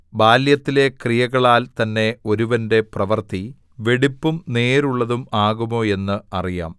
ബാല്യത്തിലെ ക്രിയകളാൽ തന്നെ ഒരുവന്റെ പ്രവൃത്തി വെടിപ്പും നേരുമുള്ളതും ആകുമോ എന്ന് അറിയാം